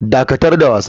Dakatar da wasa.